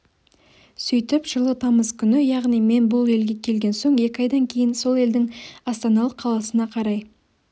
сөйтіп жылы тамыз күні яғни мен бұл елге келген соң екі айдан кейін сол елдің астаналық қаласына қарай